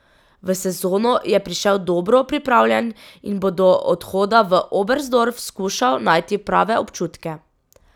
V sezono je prišel dobro pripravljen in bo do odhoda v Oberstdorf skušal najti prave občutke.